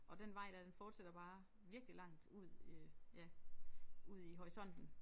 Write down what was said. Og den vej der den fortsætter bare virkelig langt ud øh ja ud i horisonten